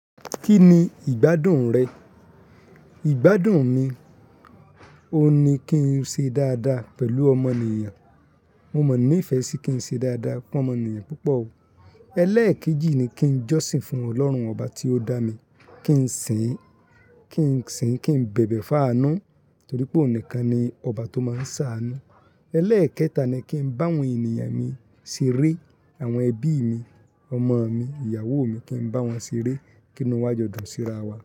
Kí ni ìgbádùn rẹ? Ìgbádùn mi, óun ní kí n ṣe dáadáa pẹ̀lú ọmọnìyàn. Mo mọ ní fẹ́ sí kí n ṣe dáadáa fomọnìyàn púpọ̀ o. Ẹlẹ́ẹ̀kejì ni kí n jọ́sìn fún Ọlọ́run ọba tí ó dá mi, kí n sìn, kí n sìn, kí n bẹ̀bẹ̀ fá ánù, torí pé òun nìkan ni ọba tó máa ń sa àánú. Ẹlẹ́ẹ̀kẹta ni kí n bá àwọn ènìyàn mi ṣeré, àwọn ẹbí mi, ọmọ mi, ìyàwó mi kí n bá wọn ṣeré, kí inú wa jọdùn sí ra wa.